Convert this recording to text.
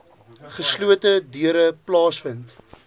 geslote deure plaasvind